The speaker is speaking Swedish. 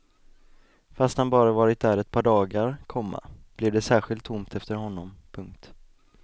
Fast han bara varit där ett par dagar, komma blev det särskilt tomt efter honom. punkt